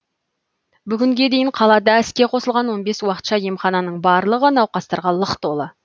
бүгінге дейін қалада іске қосылған он бес уақытша емхананың барлығы науқастарға лық толы